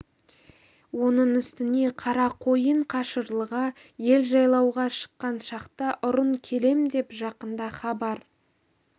оның үстіне қарақойын қашырлыға ел жайлауға шыққан шақта ұрын келем деп жақында хабар